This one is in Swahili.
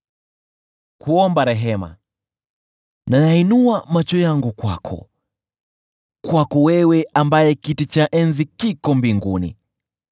Ninayainua macho yangu kwako, kwako wewe ambaye kiti chako cha enzi kiko mbinguni.